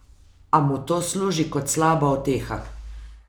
A mu to služi kot slaba uteha.